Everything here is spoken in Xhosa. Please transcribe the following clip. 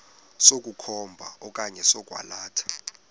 sokukhomba okanye sokwalatha